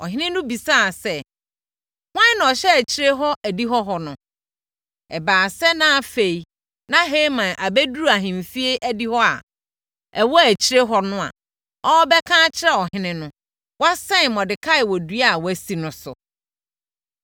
Ɔhene no bisaa sɛ, “Hwan na ɔhyɛ akyire hɔ adihɔ hɔ no?” Ɛbaa sɛ, na afei na Haman abɛduru ahemfie adihɔ a ɛwɔ akyire hɔ no a ɔrebɛka akyerɛ ɔhene no, na wasɛn Mordekai wɔ dua a wasi no so.